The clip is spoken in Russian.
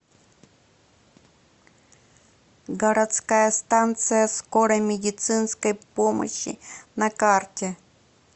городская станция скорой медицинской помощи на карте